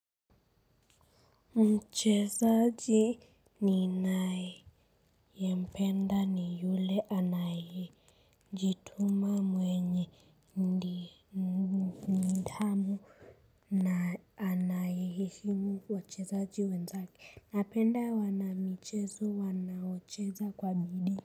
Mchezaji ninayependa ni yule anayejituma mwenye nidhamu. Na anayeheshimu wachezaji wenzake. Napenda wanamichezo wanaocheza kwa bidii.